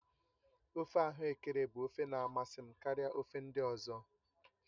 ofe ahuekere bụ ofe na amasị karịa ofe ndị ọzọ